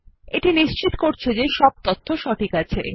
এটি নিশ্চিত করতে যে সব তথ্য সঠিক আছে